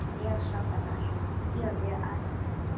Jónsi, hvað er á dagatalinu í dag?